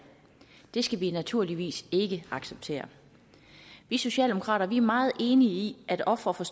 det skal vi naturligvis ikke acceptere vi socialdemokrater er meget enige i at ofre for